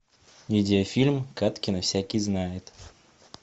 видеофильм кадкина всякий знает